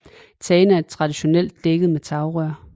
Tagene er traditionelt tækket med tagrør